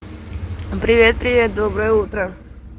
привет привет доброе утро